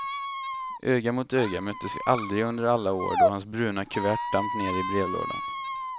Öga mot öga möttes vi aldrig under alla år då hans bruna kuvert damp ner i brevlådan.